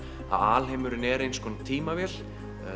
að alheimurinn er eins konar tímavél